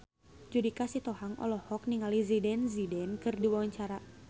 Judika Sitohang olohok ningali Zidane Zidane keur diwawancara